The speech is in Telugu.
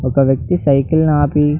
ఒక వ్యక్తి సైకిల్ ని అపి --